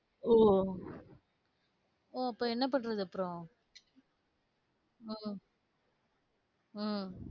ஓ ஓ அப்ப என்ன பண்றது அப்புறம் உம் உம்